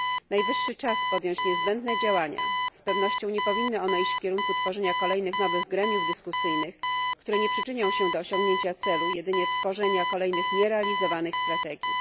Najwyższy czas podjąć niezbędne działania z pewnością nie powinny one iść w kierunku tworzenia kolejnych nowych gremiów dyskusyjnych, które nie przyczynią się do osiągnięcia celu, a jedynie do tworzenia kolejnych nierealizowanych strategii.